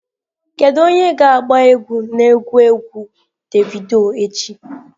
Kedu onye ga-agba egwu na egwu egwu davido echi?